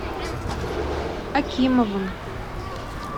акимовым